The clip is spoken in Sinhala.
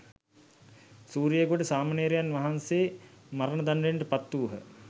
සූරියගොඩ සාමණේරයන් වහන්සේ මරණ දණ්ඩනයට පත්වූහ.